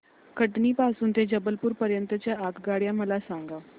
कटनी पासून ते जबलपूर पर्यंत च्या आगगाड्या मला सांगा